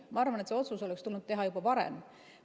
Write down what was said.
Ma arvan, et see otsus oleks tulnud teha juba varem.